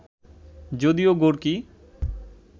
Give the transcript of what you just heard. যদিও গোর্কি